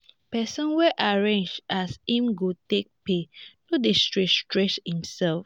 pesin wey arrange as im go take pay no dey stress stress imself.